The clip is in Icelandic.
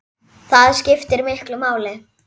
Það skiptir miklu máli.